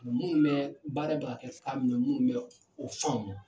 Minnu bɛ baara bɛ ka kan min na minnu bɛ o faamu.